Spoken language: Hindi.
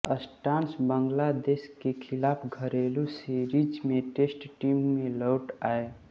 स्ट्रॉस बांग्लादेश के खिलाफ घरेलू सीरीज में टेस्ट टीम में लौट आए